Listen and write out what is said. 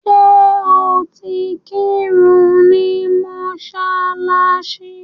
Ṣẹ́ o ti ń kírun ni mọ́ṣáláṣí?